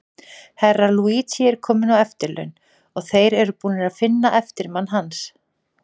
Herra Luigi er kominn á eftirlaun, og þeir eru búnir að finna eftirmann hans.